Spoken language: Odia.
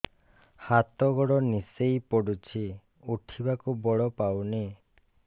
ହାତ ଗୋଡ ନିସେଇ ପଡୁଛି ଉଠିବାକୁ ବଳ ପାଉନି